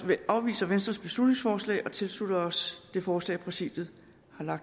vi afviser venstres beslutningsforslag og tilslutter os det forslag som præsidiet har